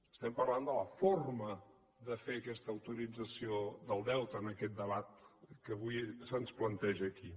estem parlant de la forma de fer aquesta autorització del deute en aquest debat que avui se’ns planteja aquí